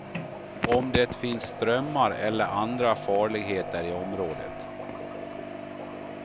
Om det finns strömmar eller andra farligheter i området.